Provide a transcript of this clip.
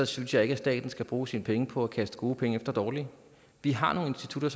synes jeg ikke at staten skal bruge sine penge på at kaste gode penge efter dårlige vi har nogle institutter